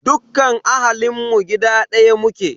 Dukkan ahalinmu a gida ɗaya muke.